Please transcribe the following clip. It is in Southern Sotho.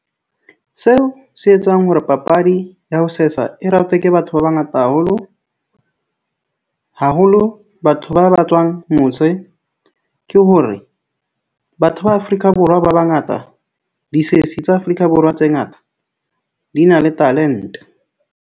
Seo se etsang hore papadi ya ho sesa e ratwe ke batho ba bangata haholo haholo, batho ba ba tswang mose ke hore batho ba Afrika Borwa ba bangata, disesi tsa Afrika Borwa tse ngata di na le talent-e.